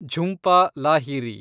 Jhumpa Lahiri